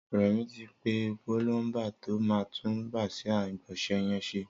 Remi ti pé púlọmbà tó mà tùn bàsiá igbọnsẹ̀ yèn ṣé